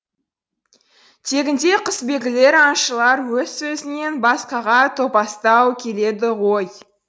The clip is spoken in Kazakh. тегінде құсбегілер аңшылар өз сөзінен басқаға топастау келеді ғой